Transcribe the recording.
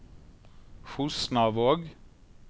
Fosnavåg